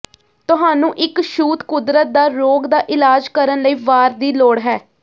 ਤੁਹਾਨੂੰ ਇੱਕ ਛੂਤ ਕੁਦਰਤ ਦਾ ਰੋਗ ਦਾ ਇਲਾਜ ਕਰਨ ਲਈ ਵਾਰ ਦੀ ਲੋੜ ਹੈ